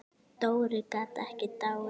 Dóri gat ekki dáið.